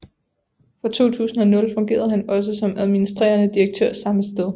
Fra 2000 fungerede han også som administrerende direktør samme sted